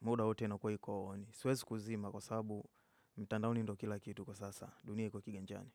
muda wote inakuwa iko ni. Siwezi kuzima kwa sababu mtandaoni ndio kila kitu kwa sasa, dunia iko kiganjani.